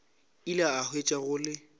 ile a hwetša go le